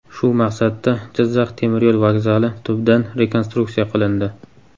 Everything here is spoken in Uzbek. Shu maqsadda Jizzax temir yo‘l vokzali tubdan rekonstruksiya qilindi.